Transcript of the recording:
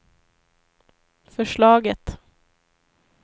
förslaget